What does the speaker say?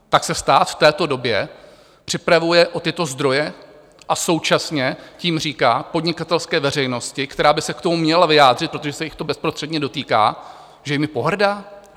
Tak se stát v této době připravuje o tyto zdroje a současně tím říká podnikatelské veřejnosti, která by se k tomu měla vyjádřit, protože se jich to bezprostředně dotýká, že jimi pohrdá?